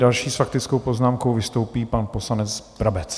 Další s faktickou poznámkou vystoupí pan poslanec Brabec.